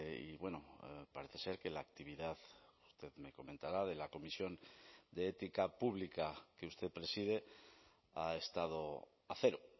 y bueno parece ser que la actividad usted me comentará de la comisión de ética pública que usted preside ha estado a cero